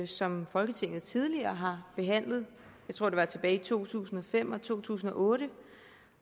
som folketinget tidligere har behandlet jeg tror det var tilbage i to tusind og fem og to tusind og otte